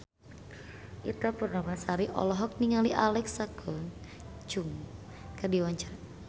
Ita Purnamasari olohok ningali Alexa Chung keur diwawancara